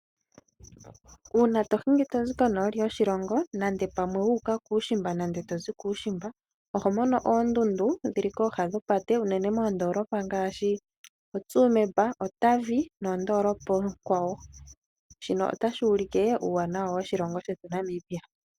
Uuna tohingi tozi konooli yoshilongo nande pamwe wu uka kuushimba nande tozi kuushimba oho mono oondundu ndhili kooha nopate uunene moondolopa ngaashi oTsumeb, Otavi noondolopa oonkwawo , shino otashi ulike uuwanawa woshilongo shetu Namibia.